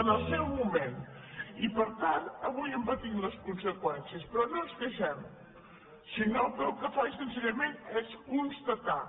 en el seu moment i per tant avui en patim les con·seqüències però no ens queixem sinó que el que faig senzillament és constatar